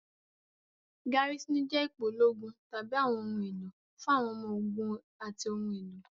Garisini jẹ́ ipò ológun tàbí àwọn ohun èlò fún àwọn ọmọ ogun àti ohun èlò.